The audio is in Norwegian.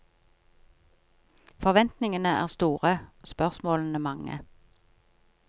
Forventningene er store, spørsmålene mange.